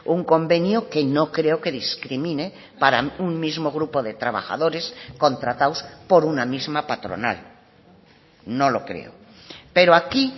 un convenio que no creo que discrimine para un mismo grupo de trabajadores contratados por una misma patronal no lo creo pero aquí